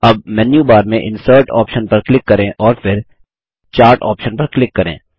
अब मेन्यूबार में insert option पर क्लिक करें और फिर चार्ट ऑप्शन पर क्लिक करें